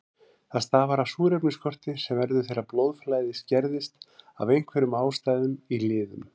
Það stafar af súrefnisskorti sem verður þegar blóðflæði skerðist af einhverjum ástæðum í liðum.